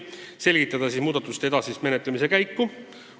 Tahtsime selgitada edasist ettepanekute menetlemise käiku.